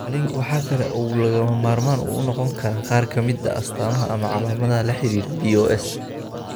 Qalliinku waxa kale oo uu lagama maarmaan u noqon karaa qaar ka mid ah astamaha ama calaamadaha la xidhiidha BOS.